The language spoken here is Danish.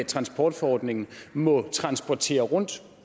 transportforordningen må transportere rundt